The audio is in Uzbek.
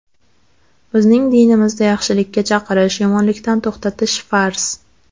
Bizning dinimizda yaxshilikka chaqirish, yomonlikdan to‘xtatish farz.